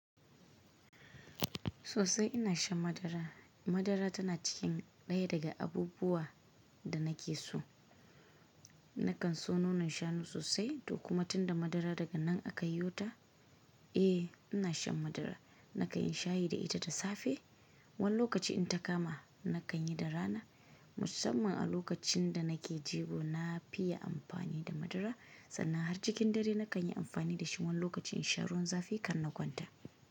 Sosai ina shan madara. Madara tana cikin ɗaya daga abubuwa da nake so. Nakan so nonon shanu sosai, to kuma tunda madara daga nan aka yo ta, eh ina shan madara. Nakan yi shayi da ita da safe, wani lokaci in ta kama nakan yi da rana. Musamman a lokacin da nake jigo na fiye amfani da madara. Sannan har cikin dare nakan yi amfani da shi, wani lokacin in sha ruwan zafi kan na kwanta.